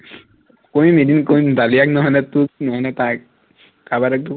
কৰিম এনেই কৰিম ডালিয়াক নহলে তোক নহলে তাক, কাৰোবাক এটাকতো কৰিম